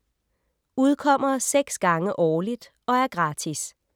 Udkommer 6 gange årligt og er gratis.